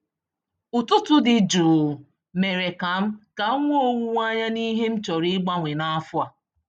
Ụtụtụ dị jụụ mèrè kam kam nwee owuwe anya n'ihe m chọrọ igbanwe na afọ a